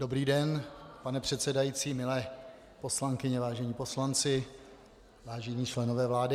Dobrý den, pane předsedající, milé poslankyně, vážení poslanci, vážení členové vlády.